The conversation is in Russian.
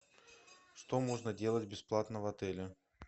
что можно делать бесплатно в отеле